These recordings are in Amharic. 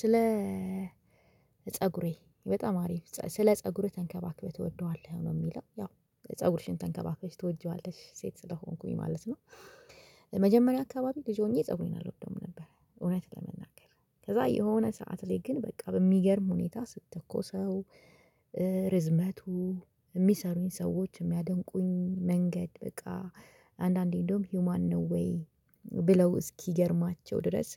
ስለ ፀጉሬ በጣም አሪፍ ስለ ፀጉሬ ተንከባክበህ ትወደዋለህ ነው። የሚለው ያው ፀጉርሽን ተንከባክበሽ ትወጂዋለሽ ሴት ስለሆንኩኝ ማለት ነው። መጀመሪያ አካባቢ ልጅ ሆኜ ፀጉሬን አልወድም ነበር። እውነት ለመናገር ከዛ የሆነ ሰዓት ላይ ግን በቃ በሚገርም ሁኔታ ስተኮሰው። ርዝመቱ የሚሰሩኝ ሰዎች የሚያደንቁኝ መንገድ በቃ አንዳንዴ እንደውም ሂውማን ነው ወይ? ብለው እስኪገርማቸው ድረስ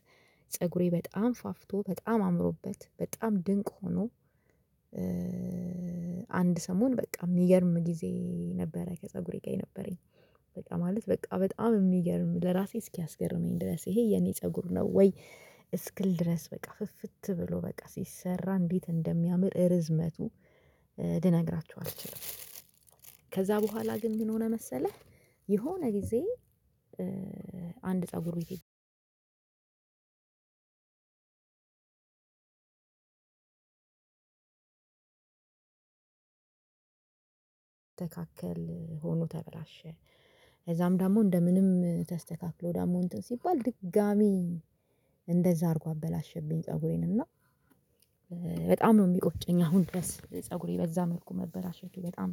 ፀጉሬ በጣም ፋፍቶ በጣም አምሮበት በጣም ድንቅ ሆኖ። አንድ ሰሞን በቃ የሚገርም ጊዜ ነበረ ፀጉሬ ጋ የነበረኝ በቃ ማለት በቃ በጣም የሚገርም ለራሴ እስኪያስገርመኝ ድረስ ይሄ የኔ ፀጉር ነው ወይ? እስክል ድረስ በቃ ፍፍት ብሎ በቃ ሲሰራ እንዴት እንደሚያምር እርዝመቱ ልነግራችሁ አልችልም። ከዛ በኋላ ግን ምን ሆነ መሰለህ? የሆነ ጊዜ አንድ ፀጉር ቤት ስስተካከል ሆኖ ተበላሸ እዛም ዳሞ እንደምንም ተስተካክሎ ደሞ እንትን ሲባል ድጋሚ። እንደዛ አርጎ አበላሸብኝ ፀጉሬን እና። በጣም ነው የሚቆጭኝ አሁን ድረስ ፀጉሬ በዛ መልኩ መበላሸቱ በጣም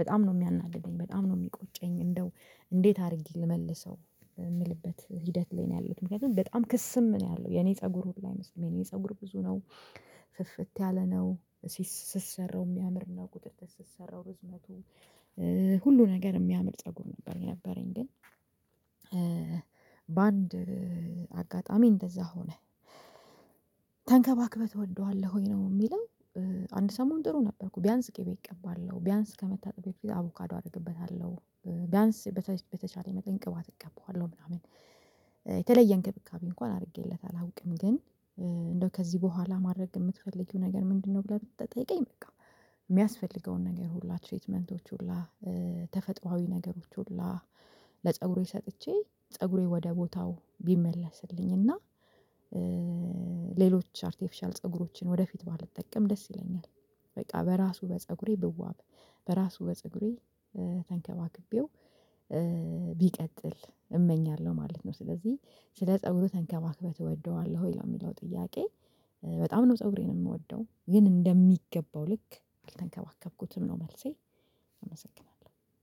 በጣም ነው የሚያናድደኝ በጣም ነው የሚቆጨኝ። እንደው እንዴት አድርጌ ልመልሰው የምልበት ሂደት ላይ ነው ያለሁት። ምክንያቱም በጣም ክስም ነው ያለው የኔ ፀጉር ሁሉ አይመስልም የኔ ፀጉር ብዙ ነው። ፍፍት ያለ ነው። ስሰራው የሚያምር ነው ቁጥጥር ስሰራው እርዝመቱ ሁሉ ነገር የሚያምር ፀጉር ነበረኝ ነበረኝ ግን። በአንድ አጋጣሚ እንደዛ ሆነ። ተንከባክበህ ትወደዋለህ ወይ ነው የሚለው? አንድ ሰሞን ጥሩ ነበርኩ ቢያንስ ቅቤ እቀባለሁ ቢያንስ ከመታጠቤ በፊት አቮካዶ አደርግበታለሁ። ቢያንስ በተቻለ መጠን ቅባት እቀባዋለሁ ምናምን የተለየ እንክብካቤ እንኳን አድርጌለት አላውቅም ግን። እንደው ከዚህ በኋላ ማድረግ የምትፈልጊው ነገር ምንድነው? ብለህ ብትጠይቀኝ በቃ የሚያስፈልገውን ነገር ሁላ ትሪትመንቶች ሁላ ተፈጥሮአዊ ነገሮች ሁላ ለፀጉሬ ሰጥቼ ፀጉሬ ወደ ቦታው ቢመለስልኝ እና። ሌሎች አርቲፊሻል ፀጉሮችን ወደፊት ባልጠቀም ደስ ይለኛል። በቃ በራሱ በፀጉሬ ብዋብ በራሱ በፀጉሬ ተንከባክቤው ቢቀጥል እመኛለሁ ማለት ነው። ስለዚህ ስለ ፀጉርህ ተንከባክበህ ትወደዋለህ ወይ ነው የሚለው? ጥያቄ በጣም ነው ፀጉሬን እምወደው ግን እንደሚገባው ልክ አልተንከባከብኩትም ነው መልሴ። አመሰግናለሁ